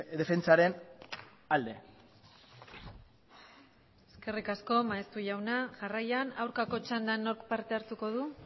defentsaren alde eskerrik asko maeztu jauna jarraian aldeko txandan nork parte hartuko du